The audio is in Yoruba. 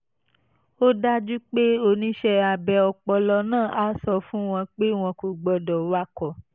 ó dájú pé oníṣẹ́ abẹ ọpọlọ náà á sọ fún wọn pé wọn kò gbọ́dọ̀ wakọ̀